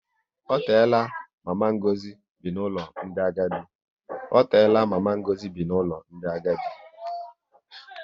Ọ teela mama Ngozi bi n'ụlọ ndị agadi